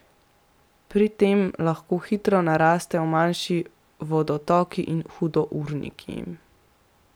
Pri tem lahko hitro narastejo manjši vodotoki in hudourniki.